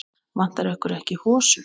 Vantar ykkur ekki hosur?